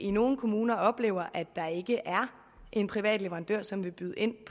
i nogle kommuner oplever at der ikke er en privat leverandør som vil byde ind